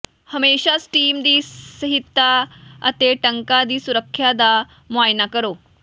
ਹਮੇਸ਼ਾ ਸਟੀਮ ਦੀ ਸਹੀਤਾ ਅਤੇ ਟੰਕਾਂ ਦੀ ਸੁੱਰਖਿਆ ਦਾ ਮੁਆਇਨਾ ਕਰੋ